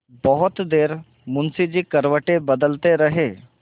बहुत देर मुंशी जी करवटें बदलते रहे